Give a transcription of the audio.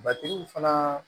Batigiw fana